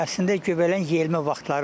Əslində göbələyin yeyilmə vaxtları var.